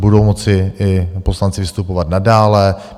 Budou moci i poslanci vystupovat nadále.